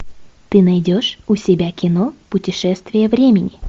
ты найдешь у себя кино путешествие времени